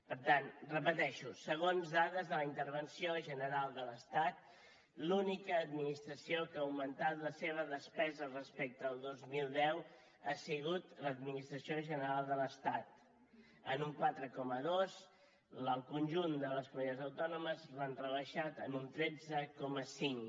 per tant ho repeteixo segons dades de la intervenció general de l’estat l’única administració que ha augmentat la seva despesa respecte al dos mil deu ha sigut l’administració general de l’estat en un quatre coma dos el conjunt de les comunitats autònomes l’han rebaixat en un tretze coma cinc